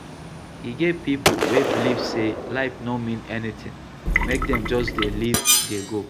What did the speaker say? E get pipo wey believe sey life no mean anything, make dem just dey live dey go